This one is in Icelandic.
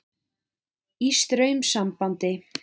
Í straumsambandi.